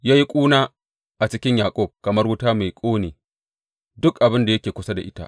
Ya yi ƙuna a cikin Yaƙub kamar wuta mai ƙone duk abin da yake kusa da ita.